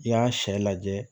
I y'a sɛ lajɛ